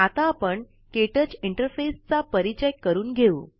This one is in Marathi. आता आपण क्टच इंटरफेसचा परिचय करून घेऊ